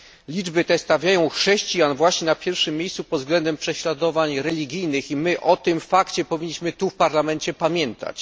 Liczby te stawiają chrześcijan właśnie na pierwszym miejscu pod względem prześladowań religijnych i my o tym fakcie powinniśmy tu w Parlamencie pamiętać.